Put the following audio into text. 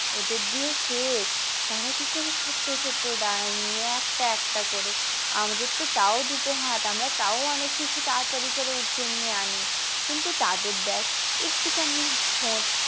ওদের দিয়ে শেখ তারা কি করে ছোট্ট ছোট্ট ডাল নিয়ে একটা একটা করে আমাদের তো তাও দুটো হাত আমরা তাও অনেক কিছু তাড়া তাড়ি করে উঠিয়ে নিয়ে আনি কিন্তু তাদের দেখ একটু খানি ঠোঁট।